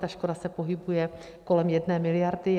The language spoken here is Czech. Ta škoda se pohybuje kolem 1 miliardy.